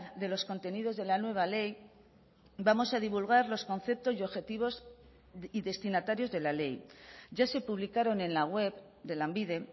de los contenidos de la nueva ley vamos a divulgar los conceptos y objetivos y destinatarios de la ley ya se publicaron en la web de lanbide